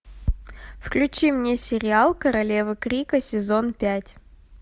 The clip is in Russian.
включи мне сериал королева крика сезон пять